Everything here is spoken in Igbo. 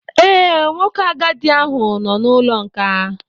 Ee, nwoke agadi ahụ nọ n'ụlọ nkà